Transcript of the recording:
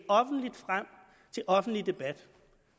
offentligt frem til offentlig debat